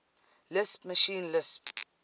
lisp machine lisp